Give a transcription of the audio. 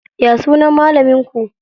Ya sunan malamin ku?